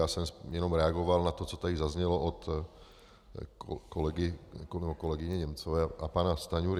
Já jsem jenom reagoval na to, co tady zaznělo od kolegyně Němcové a pana Stanjury.